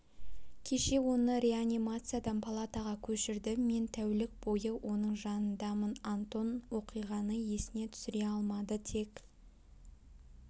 кеше оны реанимациядан палатаға көшірді мен тәулік бойы оның жанындамын антон оқиғаны есіне түсіре алмады тек